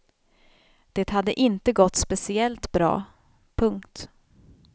Det hade inte gått speciellt bra. punkt